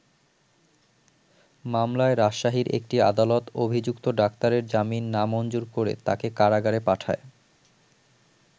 মামলায় রাজশাহীর একটি আদালত অভিযুক্ত ডাক্তারের জামিন না মঞ্জুর করে তাকে কারাগারে পাঠায়।